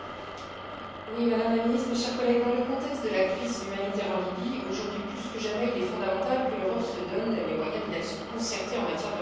Madame la Ministre, mes chers collègues, dans le contexte de la crise humanitaire en Libye, aujourd'hui plus que jamais, il est fondamental que l'Europe se donne les moyens d'une action concertée en matière de réinstallation.